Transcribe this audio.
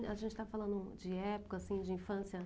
A gente está falando de época, assim, de infância.